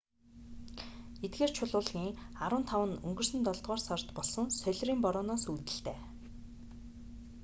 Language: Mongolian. эдгээр чулуулгийн арван тав нь өнгөрсөн долдугаар сард болсон солирын борооноос үүдэлтэй